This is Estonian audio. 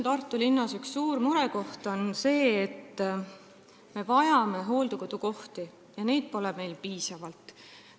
Tartu üks suuri murekohti on see, et me vajame hooldekodukohti, aga neid pole piisavalt.